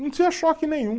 Não tinha choque nenhum.